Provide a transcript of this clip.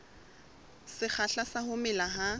sekgahla sa ho mela ha